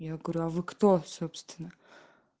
я говорю а вы кто собственно